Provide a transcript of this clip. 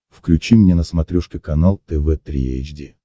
включи мне на смотрешке канал тв три эйч ди